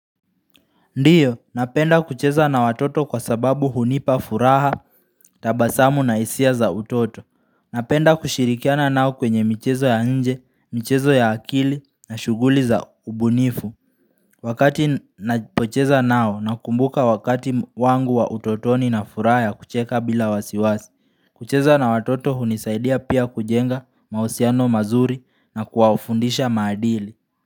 Ndiyo, napenda kucheza na watoto kwa sababu hunipa furaha, tabasamu na hisia za utoto Napenda kushirikiana nao kwenye michezo ya nje, michezo ya akili na shughuli za ubunifu Wakati napocheza nao, nakumbuka wakati wangu wa utotoni na furaha ya kucheka bila wasiwasi kucheza na watoto hunisaidia pia kujenga mahusiano mazuri na kuwafundisha maadili.